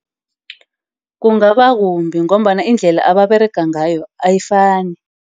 Kungaba kumbi ngombana iindlela ababerega ngayo ayifani.